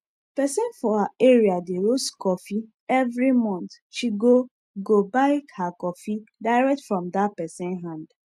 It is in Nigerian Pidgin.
person for her area dey roast coffee every month she go go buy her coffee direct from that person hand